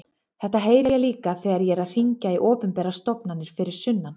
Þetta heyri ég líka þegar ég er að hringja í opinberar stofnanir fyrir sunnan.